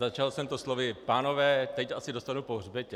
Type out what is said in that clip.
Začal jsem to slovy: "Pánové, teď asi dostanu po hřbetě."